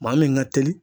Maa min ka teli